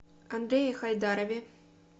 андрее хайдарове